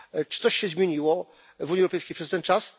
Czy coś się zmieniło w Unii Europejskiej przez ten czas?